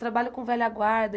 Trabalho com velha guarda.